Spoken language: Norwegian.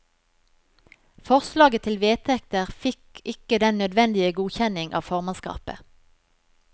Forslaget til vedtekter fikk ikke den nødvendige godkjenning av formannskapet.